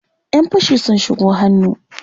Ƴan fashi sun shigo hannu.